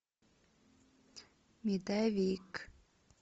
медовик